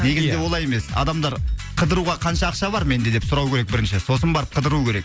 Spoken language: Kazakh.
олай емес адамдар қыдыруға қанша ақша бар менде деп сұрау керек бірінші сосын барып қыдыру керек